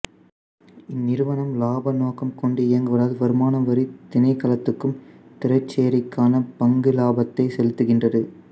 இந்நிறுவனம் இலாப நோக்கம் கொண்டு இயங்குவதால் வருமானவரி திணைக்களத்துக்கும் திரைசேரிக்கான பங்கு இலாபத்தையும் சொலுத்துகின்றது